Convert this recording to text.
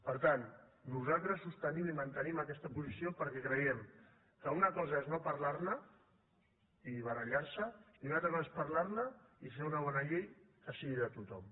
per tant nosaltres sostenim i mantenim aquesta posició perquè creiem que una cosa és no parlar ne i barallar se i una altra cosa és parlar ne i fer una bona llei que sigui de tothom